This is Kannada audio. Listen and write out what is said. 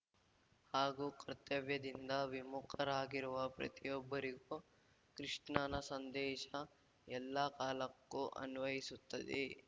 ಹಾಗೂ ಕರ್ತವ್ಯದಿಂದ ವಿಮುಖರಾಗಿರುವ ಪ್ರತಿಯೊಬ್ಬರಿಗೂ ಕೃಷ್ಣನ ಸಂದೇಶ ಎಲ್ಲಾ ಕಾಲಕ್ಕೂ ಅನ್ವಯಿಸುತ್ತದೆ